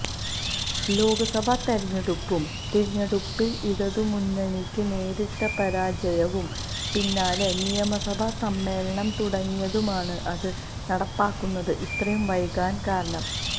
ലോക്സഭാ തിരഞ്ഞെടുപ്പും തിരഞ്ഞെടുപ്പില് ഇടതുമുന്നണിക്ക് നേരിട്ട പരാജയവും പിന്നാലെ നിയമസഭാ സമ്മേളനം തുടങ്ങിയതുമാണ് അത് നടപ്പാക്കുന്നത് ഇത്രയും വൈകാന് കാരണം